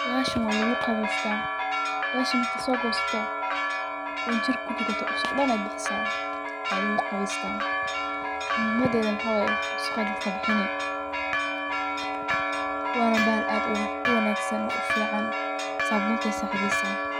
Bahashan waa lugu qawesta, bahashan markad soo gosato oo jirka kurugato, dhusuqa dhan ayay bixisaa, waa lugu qabestaa muhiimadeda maxa way inay dhusuqa dadka kabixini wana bahal ad u wanaagsan oo u fican, saabuntay saacideesa